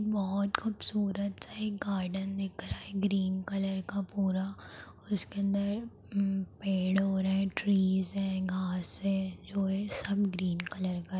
बहोत खूबसूरत एक गार्डन दिख रहा है ग्रीन कलर का। पूरा उसके अंदर उ पेड़ ओड़ हैं। ट्रीज है। घांस है जो ये सब ग्रीन कलर का --